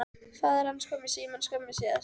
Faðir hans kom í símann skömmu síðar.